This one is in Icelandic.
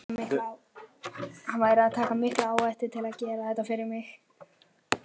Hann væri að taka mikla áhættu til að gera þetta fyrir mig.